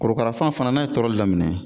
Korokarafan fana n'a ye tɔrɔli daminɛ